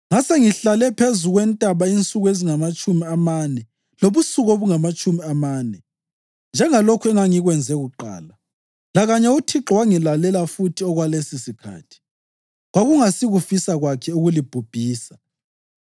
“Ngasengihlale phezu kwentaba insuku ezingamatshumi amane lobusuku obungamatshumi amane, njengalokhu engangikwenze kuqala, lakanye uThixo wangilalela futhi okwalesosikhathi. Kwakungasikufisa kwakhe ukulibhubhisa.